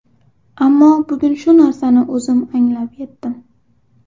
Ammo bugun shu narsani o‘zim anglab yetdim.